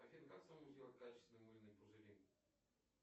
афин как самому сделать качественные мыльные пузыри